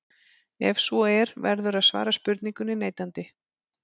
Ef svo er verður að svara spurningunni neitandi.